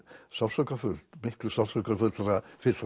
sársaukafullt miklu sársaukafyllra